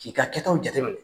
K'i ka kɛtaw jate